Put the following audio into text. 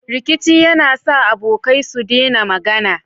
Rikici yAna sa abokai su dena magAna